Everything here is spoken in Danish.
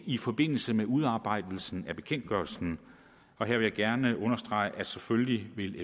i forbindelse med udarbejdelsen af bekendtgørelsen her vil jeg gerne understrege at erhvervet selvfølgelig vil